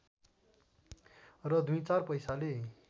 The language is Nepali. र दुई चार पैसाले